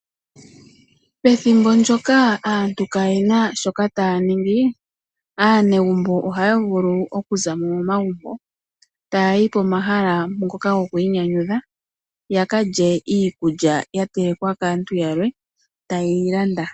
Ethimbo ndyoka aantu kaayena shoka ta ya ningi. Aanegumbo oha ya vulu okuzamo momagumbo, taayi komahala ngoka hagiinanyudha. Ya kalye iikulya ya telekwa kaantu yalwe, ta ye yi landa.